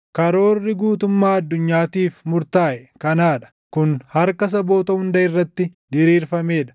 Karoorri guutummaa addunyaatiif murtaaʼe kanaa dha; kun harka saboota hunda irratti diriirfamee dha.